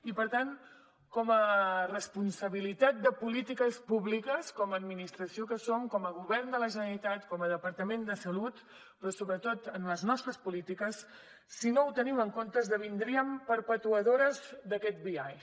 i per tant com a responsabilitat de polítiques públiques com a administració que som com a govern de la generalitat com a departament de salut però sobretot en les nostres polítiques si no ho tenim en compte esdevindríem perpetuadores d’aquest biaix